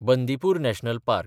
Bandipur national park